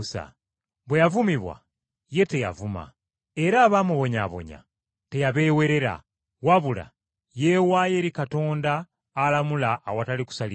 Bwe yavumibwa, ye teyavuma. Era abaamubonyaabonya teyabeewerera, wabula yeewaayo eri Katonda alamula awatali kusaliriza.